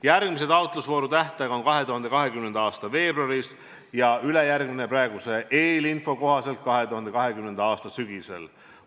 Järgmise taotlusvooru tähtaeg on 2020. aasta veebruaris ja ülejärgmise oma praeguse eelinfo kohaselt 2020. aasta sügisel.